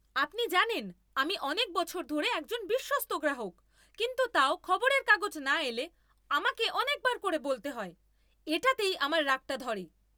আপনি জানেন, আমি অনেক বছর ধরে একজন বিশ্বস্ত গ্রাহক, কিন্তু তাও খবরের কাগজ না এলে আমাকে অনেকবার করে বলতে হয়। এটাতেই আমার রাগটা ধরে।